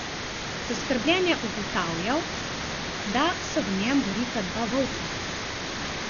Zaskrbljen je ugotavljal, da se v njem borita dva volka.